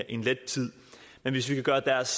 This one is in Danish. en let tid hvis vi kan gøre deres